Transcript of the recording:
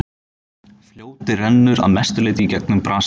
Fljótið rennur að mestu leyti í gegnum Brasilíu.